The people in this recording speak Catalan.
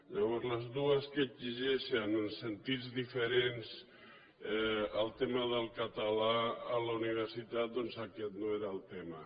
llavors les dues que exigeixen en sentits diferents el tema del català a la universitat doncs aquest no era el tema